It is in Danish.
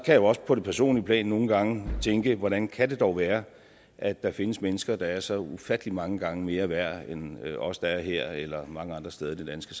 jeg også på det personlige plan nogle gange tænke hvordan kan det dog være at der findes mennesker der også er så ufattelig mange gange mere værd end os der er her eller mange andre steder i det danske